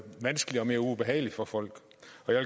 vanskeligere og mere ubehageligt for folk